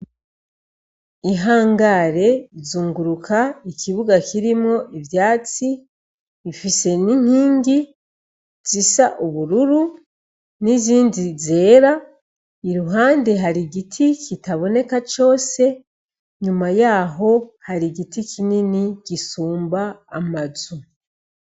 Ihangare izunguruka ikibuga kirimwo ivyatsi ifise n'inkingi zisa ubururu n'izindi zera, iruhande hari igiti kitaboneka cose inyuma yaho hari igiti kinini gisumba amazu.